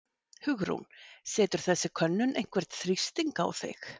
Hugrún: Setur þessi könnun einhvern þrýsting á þig?